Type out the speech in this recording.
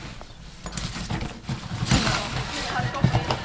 Ég get ekki sagt það núna.